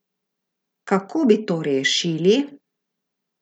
Kako bi to rešili?